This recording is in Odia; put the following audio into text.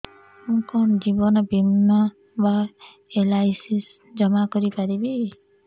ମୁ କଣ ଜୀବନ ବୀମା ବା ଏଲ୍.ଆଇ.ସି ଜମା କରି ପାରିବି